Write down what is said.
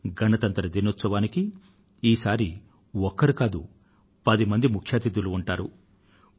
ఈసారి గణతంత్ర దినోత్సవానికి ఒక్కరు కాదు పది మంది ముఖ్య అతిథులు ఉంటారు